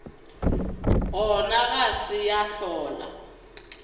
gona ga se ya hlola